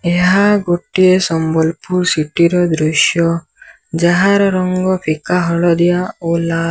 ଏହା ଗୋଟିଏ ସମ୍ବଲପୁର ସିଟି ର ଦୃଶ୍ୟ ଯାହାର ରଙ୍ଗ ଫିକା ହଳଦିଆ ଓ ଲାଲ।